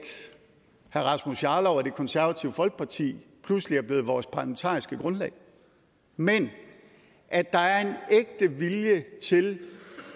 herre rasmus jarlov og det konservative folkeparti pludselig er blevet vores parlamentariske grundlag men at der er en ægte vilje til